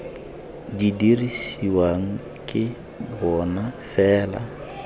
di dirisiwang ke bona fela